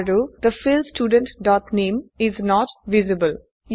and the field student dot name is not visible